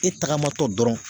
E tagama tɔ dɔrɔn